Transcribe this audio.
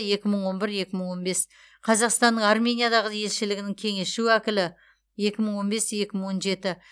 екі мың он бір екі мың он бес қазақстанның армениядағы елшілігінің кеңесші уәкілі екі мың он бес екі мың он жеті